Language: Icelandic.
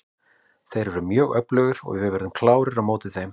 Þeir eru mjög öflugir og við verðum klárir á móti þeim.